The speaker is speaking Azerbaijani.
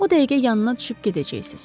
O dəqiqə yanına düşüb gedəcəksiz.